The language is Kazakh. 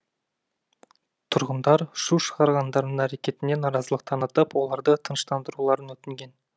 тұрғындар шу шығарғандардың әрекетіне наразылық танытып оларды тыныштандыруларын өтінген